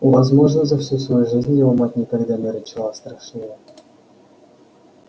возможно за всю свою жизнь его мать никогда не рычала страшнее